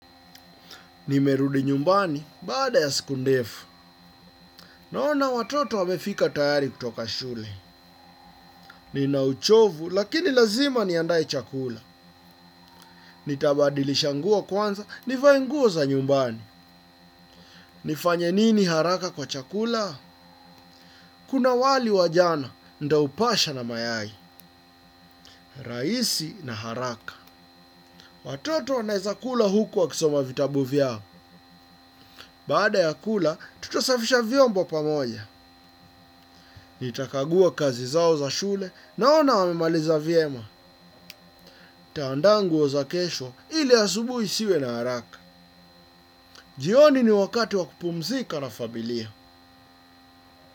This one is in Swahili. Nimerudi nyumbani baada ya siku ndefu. Naona watoto wamefika tayari kutoka shule. Nina uchovu lakini lazima niandae chakula. Nitabadilisha nguo kwanza, nivae nguo za nyumbani. Nifanye nini haraka kwa chakula? Kuna wali wajana, nitaupasha na mayai. Raisi na haraka. Watoto wanaeza kula huku wakisoma vitabu vyao. Baada ya kula tutasafisha vyombo pamoja. Nitakagua kazi zao za shule naona wamemaliza vyema. Nitaanda nguo za kesho ili asubui siwe na haraka. Jioni ni wakati wa kupumzika na familia.